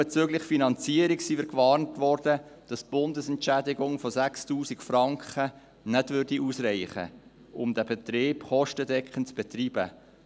Auch bezüglich Finanzierung sind wir gewarnt worden, dass die Bundesentschädigung von 6000 Franken nicht ausreichen werde, um den Betrieb kostendeckend zu betreiben.